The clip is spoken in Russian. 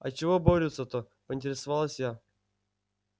а чего борются-то поинтересовалась я